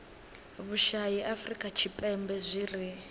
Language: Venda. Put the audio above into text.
vhushai afurika tshipembe zwi ri